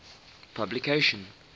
publication